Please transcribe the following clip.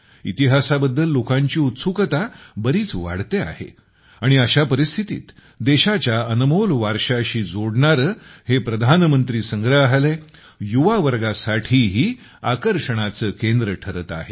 इतिहासाबद्दल लोकांची उत्सुकता बरीच वाढते आहे आणि अशा परिस्थितीत देशाच्या अनमोल वारशाशी जोडणारे हे प्रधानमंत्री संग्रहालय युवा वर्गासाठीही आकर्षणाचे केंद्र ठरत आहे